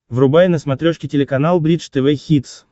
врубай на смотрешке телеканал бридж тв хитс